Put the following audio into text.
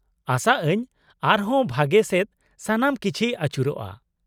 -ᱟᱥᱟ ᱟᱹᱧ ᱟᱨ ᱦᱚᱸ ᱵᱷᱟᱜᱮ ᱥᱮᱫ ᱥᱟᱱᱟᱢ ᱠᱤᱪᱷᱤ ᱟᱪᱩᱨᱚᱜᱼᱟ ᱾